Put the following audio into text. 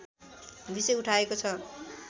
विषय उठाएको छ